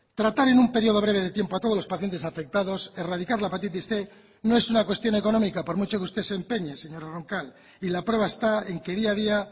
tratar en un periodo breve de tiempo a todos los pacientes afectados erradicar la hepatitis cien no es una cuestión económica por mucho que usted se empeñe señora roncal y la prueba está en que día a día